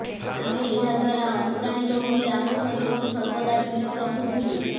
ଆମେ ଏହା ଦ୍ୱାରା ଅନୁପ୍ରାଣିତ ହୋଇ ଆମ ଶରୀରକୁ ସର୍ବଦା ଫିଟ୍ ରଖୁଥିଲୁ